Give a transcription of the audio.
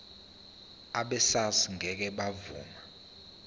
abesars ngeke bavuma